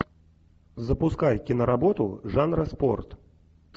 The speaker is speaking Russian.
запускай киноработу жанра спорт